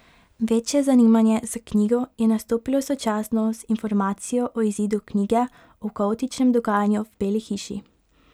Večje zanimanje za knjigo je nastopilo sočasno z informacijo o izidu knjige o kaotičnem dogajanju v Beli hiši.